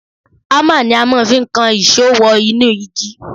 Ámà ni a máa fi ń kan ìṣó wọ inú igi